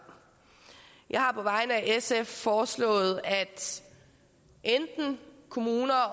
jeg har på vegne af sf foreslået at kommuner og